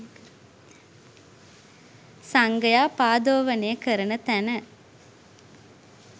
සංඝයා පා දෝවනය කරන තැන.